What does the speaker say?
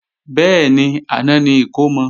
Bẹ́ẹ̀ni, àná ni ìkómọ